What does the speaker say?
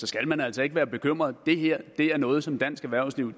skal man altså ikke være bekymret det her er noget som dansk erhvervsliv